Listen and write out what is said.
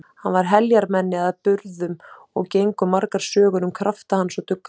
Hann var heljarmenni að burðum og gengu margar sögur um krafta hans og dugnað.